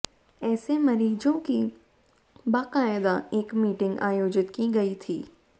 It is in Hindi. ऐसे मरीज़ों की बाकायदा एक मीटिंग आयोजित की गई थी